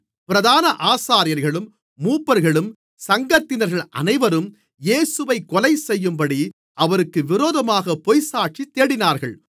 பிரதான ஆசாரியர்களும் மூப்பர்களும் சங்கத்தினர்கள் அனைவரும் இயேசுவைக் கொலைசெய்யும்படி அவருக்கு விரோதமாகப் பொய்ச்சாட்சி தேடினார்கள்